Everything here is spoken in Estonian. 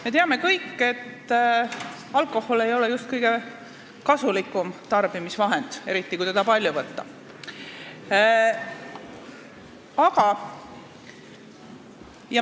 Me teame kõik, et alkohol ei ole just kõige kasulikum asi, mida tarbida, eriti kui teda palju võtta.